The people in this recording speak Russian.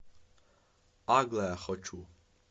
аглая хочу